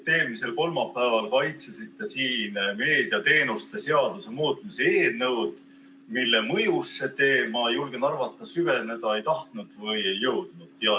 Eelmisel kolmapäeval kaitsesite siin meediateenuste seaduse muutmise seaduse eelnõu, mille mõjusse te, ma julgen arvata, süveneda ei tahtnud või ei jõudnud.